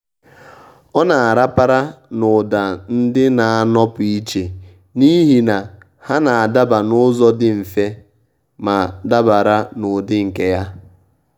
ọ́ nà-àràpàrà n’ụ́dà ndị nà-ànọ́pụ́ ìchè n’íhì nà há nà-ádaba n’ụ́zọ̀ dị mfe ma dabara n’ụ́dị́ nke ya.